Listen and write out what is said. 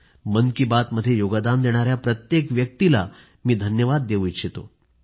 मन की बातमध्ये योगदान देणाऱ्या प्रत्येक व्यक्तीला मी धन्यवाद देवू इच्छितो